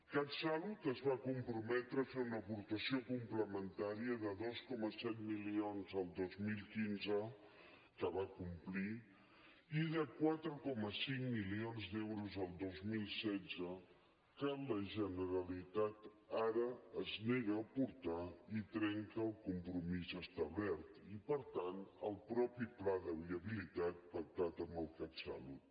catsalut es va comprometre a fer una aportació complementària de dos coma set milions el dos mil quinze que va complir i de quatre coma cinc milions d’euros el dos mil setze que la generalitat ara es nega a aportar i trenca el compromís establert i per tant el mateix pla de viabilitat pactat amb el catsalut